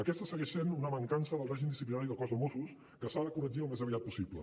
aquesta segueix sent una mancança del règim disciplinari del cos de mossos que s’ha de corregir al més aviat possible